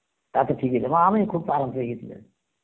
তাতে ঠিক হয়ে যাবে, আ আমি খুব আরাম পেয়ে গেছি